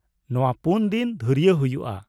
ᱱᱚᱶᱟ ᱯᱩᱱ ᱫᱤᱱ ᱫᱷᱩᱨᱭᱟᱹ ᱦᱩᱭᱩᱜᱼᱟ ᱾